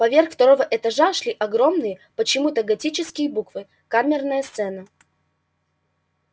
поверх второго этажа шли огромные почему-то готические буквы камерная сцена